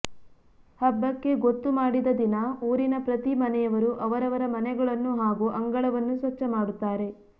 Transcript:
ಹಬ್ಬಕ್ಕೆ ಗೊತ್ತು ಮಾಡಿದ ದಿನ ಊರಿನ ಪ್ರತಿ ಮನೆಯವರು ಅವರವರ ಮನೆಗಳನ್ನು ಹಾಗೂ ಅಂಗಳವನ್ನು ಸ್ವಚ್ಛ ಮಾಡುತ್ತಾರೆ